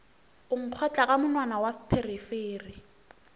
nkgotla ka monwana wa pherefere